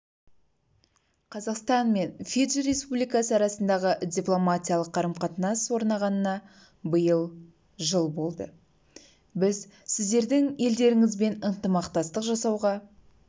қазақстан мен фиджи республикасы арасындағы дипломатиялық қарым-қатынас орнағанына биыл жыл болды біз сіздердің елдеріңізбен ынтымақтастық жасауға